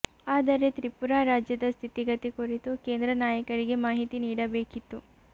ಆದರೆ ತ್ರಿಪುರಾ ರಾಜ್ಯದ ಸ್ಥಿತಿಗತಿ ಕುರಿತು ಕೇಂದ್ರ ನಾಯಕರಿಗೆ ಮಾಹಿತಿ ನೀಡಬೇಕಿತ್ತು